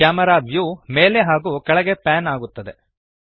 camera view ಮೇಲೆ ಹಾಗೂ ಕೆಳಗೆ ಪ್ಯಾನ್ ಆಗುತ್ತದೆ